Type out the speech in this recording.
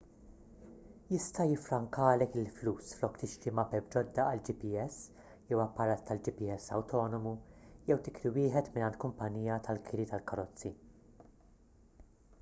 jista' jiffrankalek il-flus flok tixtri mapep ġodda għal gps jew apparat tal-gps awtonomu jew tikri wieħed mingħand kumpanija tal-kiri tal-karozzi